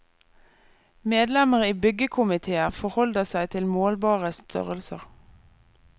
Medlemmer i byggekomitéer forholder seg til målbare størrelser.